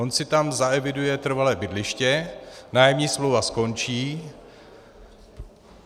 On si tam zaeviduje trvalé bydliště, nájemní smlouva skončí.